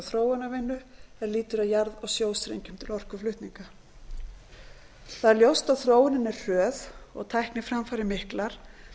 þróunarvinnu er lýtur að jarð og sjóstrengjum til orkuflutninga það er ljóst að þróunin er hröð og tækniframfarir miklar